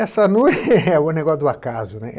Essa noi... é o negócio do acaso, né.